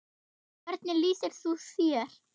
Hvernig lýsir þú þér?